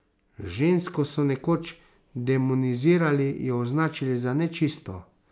Žensko so nekoč demonizirali, jo označili za nečisto.